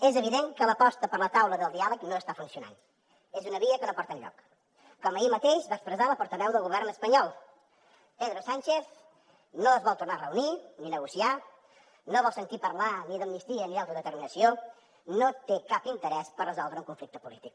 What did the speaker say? és evident que l’aposta per la taula del diàleg no està funcionant és una via que no porta enlloc com ahir mateix va expressar la portaveu del govern espanyol pedro sánchez no es vol tornar a reunir ni negociar no vol sentir parlar ni d’amnistia ni d’autodeterminació no té cap interès per resoldre un conflicte polític